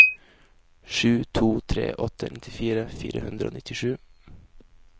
sju to tre åtte nittifire fire hundre og nittisju